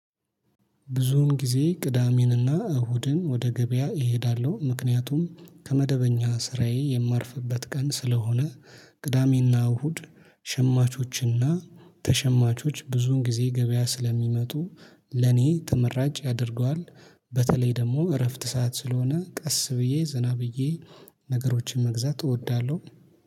ብዙውን ጊዜ ቅዳሜንና እሁድን ወደ ገበያ እሄዳለሁ ምክንያቱም ከመደበኛ ስራዬ የማርፍበት ቀን ስለሆነ ቅዳሜና እሁድ ሸማቾችና ተሸማቾች ብዙን ጊዜ ገበያ ስለሚመጡ ለኔ ተመራጭ ያደርገዋል። በተለይ ደግሞ እረፍት ሰዓት ስለሆነ ቀስ ብዬ ዘና ብዬ ነገሮችን መግዛት እወዳለሁ